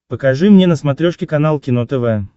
покажи мне на смотрешке канал кино тв